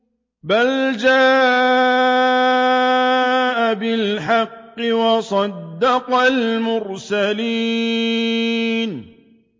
بَلْ جَاءَ بِالْحَقِّ وَصَدَّقَ الْمُرْسَلِينَ